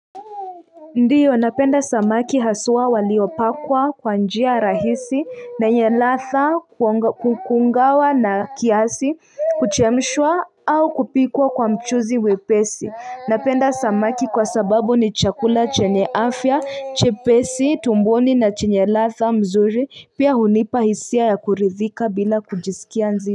Ndiyo napenda samaki haswa waliopikwa kwa njia rahisi na yenye ladha kukaangwa kiasi, kuchemshwa au kupikwa kwa mchuzi mwepesi.napenda samaki kwa sababu ni chakula chenye afya, chepesin tumboni na chenye latha mzuri pia hunipa hisia ya kuridhika bila kujisikia nzito.